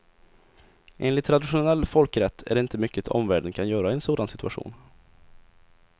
Enligt traditionell folkrätt är det inte mycket omvärlden kan göra i en sådan situation.